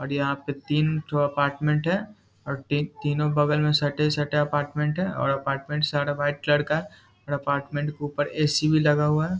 और यहाँ पे तीनठो अपार्टमेंट हैं और टी तीनो बगल में सटे-सटे अपार्टमेंट हैं और अपार्टमेंट सारा वाइट कलर का हैं और अपार्टमेंट के ऊपर ए.सी. भी लगा हुआ है।